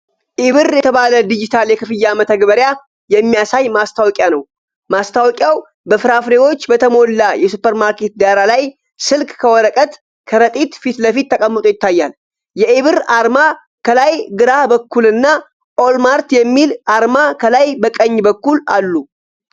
'ኢ-ብር' የተባለ ዲጂታል የክፍያ መተግበሪያ የሚያሳይ ማስታወቂያ ነው። ማስታወቂያው በፍራፍሬዎች በተሞላ የሱፐርማርኬት ዳራ ላይ፣ ስልክ ከወረቀት ከረጢት ፊት ለፊት ተቀምጦ ይታያል። የኢ-ብር አርማ ከላይ ግራ በኩልና ኦል ማርት የሚል አርማ ከላይ ቀኝ በኩልአሉ።